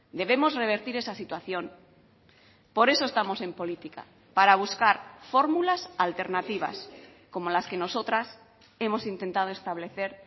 debemos revertir esa situación por eso estamos en política para buscar fórmulas alternativas como las que nosotras hemos intentado establecer